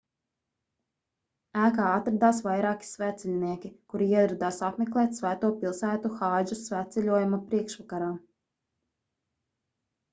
ēkā atradās vairāki svētceļnieki kuri ieradās apmeklēt svēto pilsētu hādža svētceļojuma priekšvakarā